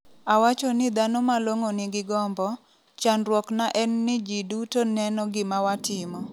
Awacho ni dhano malong’o nigi gombo, chandruok na en ni ji duto neno gima watimo.